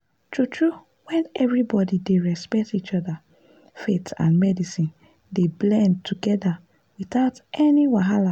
true-true when everybody dey respect each other faith and medicine dey blend together without any wahala.